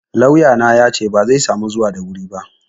Lauyana yace bazai samu zuwa da wuri ba.